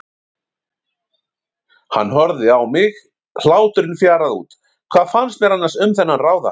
Hann horfði á mig, hláturinn fjaraði út, hvað fannst mér annars um þennan ráðahag?